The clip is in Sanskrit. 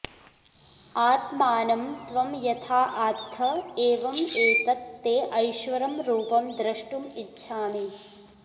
आत्मानं त्वं यथा आत्थ एवम् एतत् ते ऐश्वरं रूपं द्रष्टुम् इच्छामि